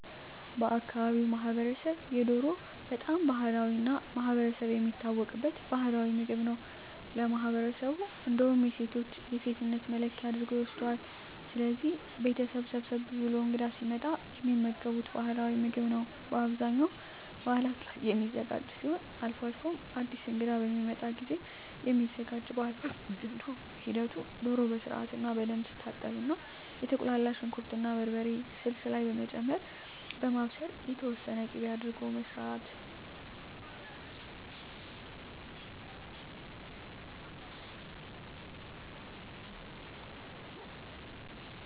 በአካባቢው ማህበረሰብ የዶሮ በጣም ባህላዊ እና ማህበረሰብ የሚታወቅበት ባህላዊ ምግብ ነው ለማህበረሠቡ እንዳውም የሴቶች የሴትነት መለኪያ አድርጎ ይወስደዋል። ስለዚህ ቤተሠብ ሰብሰብ ብሎ እንግዳ ሲመጣ የሚመገቡት ባህላዊ ምግብ ነው በአብዛኛው በዓላት ላይ የሚዘጋጅ ሲሆን አልፎ አልፎም አድስ እንግዳ በሚመጣ ጊዜም የሚዘጋጅ ባህልዊ ምግብ ነው ሂደቱ ዶሮ በስርዓትና በደንብ ትታጠብና የተቁላላ ሽንኩር እና በርበሬ ስልስ ላይ በመጨመር በማብሰል የተወሠነ ቂቤ አድርጎ መስራት